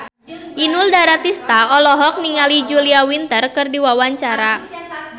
Inul Daratista olohok ningali Julia Winter keur diwawancara